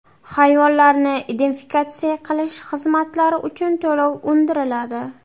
Hayvonlarni identifikatsiya qilish xizmatlari uchun to‘lov undiriladi.